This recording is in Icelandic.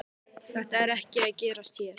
Þetta er ekki að gerast hér.